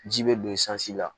Ji bɛ don i sanji la